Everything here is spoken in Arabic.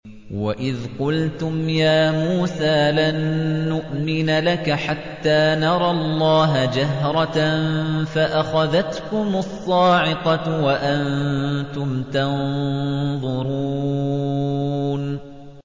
وَإِذْ قُلْتُمْ يَا مُوسَىٰ لَن نُّؤْمِنَ لَكَ حَتَّىٰ نَرَى اللَّهَ جَهْرَةً فَأَخَذَتْكُمُ الصَّاعِقَةُ وَأَنتُمْ تَنظُرُونَ